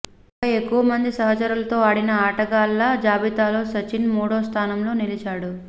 ఇక ఎక్కువ మంది సహచరులతో ఆడిన ఆటగాళ్ల జాబితాలో సచిన్ మూడో స్థానంలో నిలిచాడు